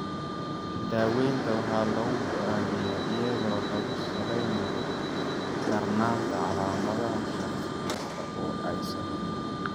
Daaweynta waxaa lagu go'aamiyaa iyadoo lagu salaynayo darnaanta calaamadaha shaqsi kasta oo ay saameysay.